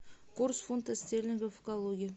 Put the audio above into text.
курс фунта стерлингов в калуге